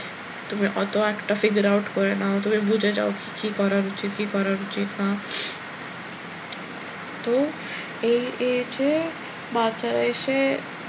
তুমি অত একটা figure out করে নাও তুমি বুঝে যাও কি কি করার উচিত, কি করার উচিত না তো এই age এ বাচ্চারা এসে,